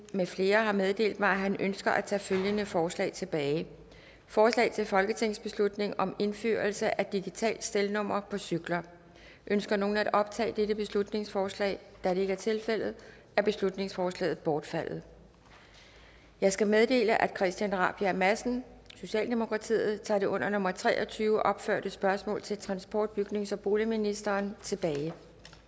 med flere har meddelt mig at de ønsker at tage følgende forslag tilbage forslag til folketingsbeslutning om indførelse af digitalt stelnummer på cykler ønsker nogen at optage dette beslutningsforslag da det ikke er tilfældet er beslutningsforslaget bortfaldet jeg skal meddele at herre christian rabjerg madsen tager det under nummer tre og tyve opførte spørgsmål til transport bygnings og boligministeren tilbage